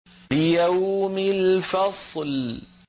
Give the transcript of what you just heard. لِيَوْمِ الْفَصْلِ